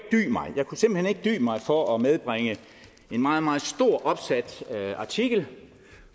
dy mig for at medbringe en meget meget stort opsat artikel